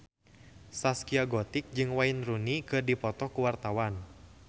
Zaskia Gotik jeung Wayne Rooney keur dipoto ku wartawan